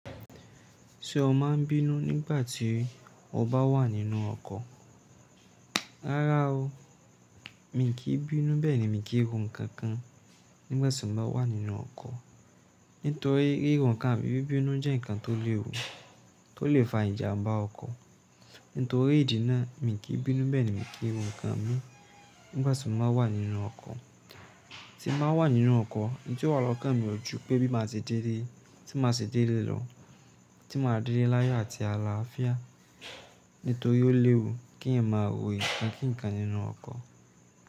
Ṣé o máa ń bínú nígbà tí o bá wà nínú ọkọ̀? Rárá o, mi kì í bínú bẹ́ẹ̀ ni mi kì í ro ǹkan kan nígbàtí mo bá wà nínú ọkọ̀. Nítorí ríro ǹkan àbí bíbínú jẹ́ ǹkan tó léwu, tó lè fa ìjàmbá ọkọ̀. Nítorí ìdí náà, mi kì í bínú bẹ́ẹ̀ ni mi kì í ro ǹkan mi nígbàtí mo bá wà nínú ọkọ̀. Tí mo bá wà nínú ọkọ̀, èyí tó wà lọ́kàn mi ò ju pé bí màá ṣe délé, tí màá ṣe dé lé lọ, tí màá dé lé láyọ̀ àti àlàáfíà. Nítorí ó léwu kí èèyàn máa ro ǹkan kíǹkan nínú ọkọ̀